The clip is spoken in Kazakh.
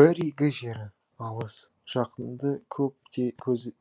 бір игі жері алыс жақынды көп